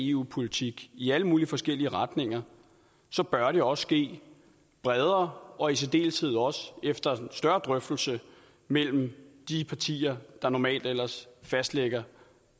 eu politik i alle mulige forskellige retninger så bør det også ske bredere og i særdeleshed også efter en større drøftelse mellem de partier der normalt ellers fastlægger